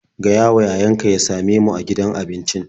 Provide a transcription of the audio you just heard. Gayawa yayanka ya same mu a gidan abincin.